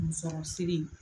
Musɔrɔ siri.